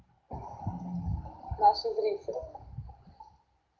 наши зрители